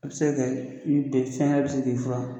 O sen fɛ i bɛ ben, fɛn wɛrɛ bɛ se k'i furan